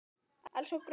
Elsku Gróa amma.